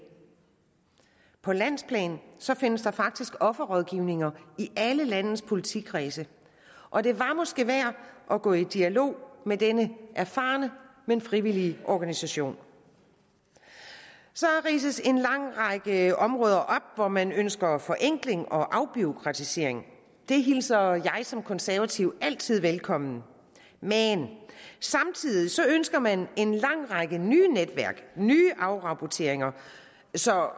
på landsplan findes der faktisk offerrådgivninger i alle landets politikredse og det var måske værd at gå i dialog med denne erfarne men frivillige organisation så ridses der en lang række områder op hvor man ønsker forenkling og afbureaukratisering det hilser jeg som konservativ altid velkommen men samtidig ønsker man en lang række nye netværk nye afrapporteringer så